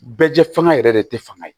Bɛɛ jɛ fanga yɛrɛ de tɛ fanga ye